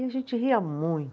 E a gente ria